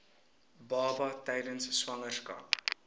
baba tydens swangerskap